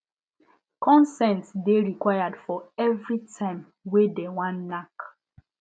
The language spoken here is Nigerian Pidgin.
consent de required for everytime wey de wan knack